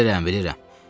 Bilirəm, bilirəm.